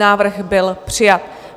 Návrh byl přijat.